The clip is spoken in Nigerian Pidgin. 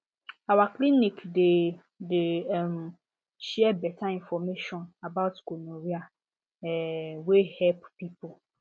our clinic dey dey um share better information about gonorrhea um wey help people